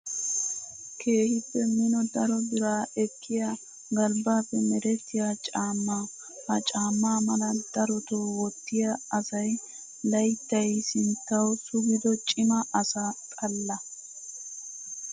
Keehippe mino daro bira ekkiya galbbaappe merettiyaa caammaa. Ha caammaa mala daroto wottiyaa asayi layittayi sinttawu sugido cima asaa xaalla.